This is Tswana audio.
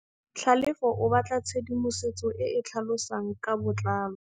Tlhalefô o batla tshedimosetsô e e tlhalosang ka botlalô.